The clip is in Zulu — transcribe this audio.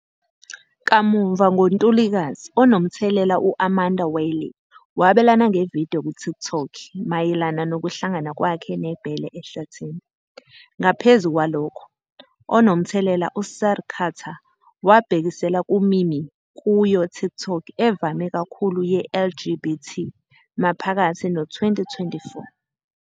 Kamuva ngo-Ntulikazi, onomthelela u-Amanda Wylie wabelana nge-video ku-TikTok mayelana nokuhlangana kwakhe nebhele ehlathini. Ngaphezu kwalokho, onomthelela uSir Carter wabhekisela ku-meme kuyi-TikTok evame kakhulu ye-LGBT maphakathi no-2024.